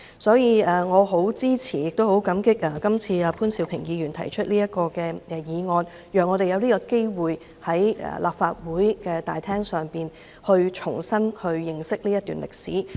所以，我很支持亦很感激潘兆平議員此次提出這項議案，讓我們有機會在立法會議事廳內重新認識這段歷史。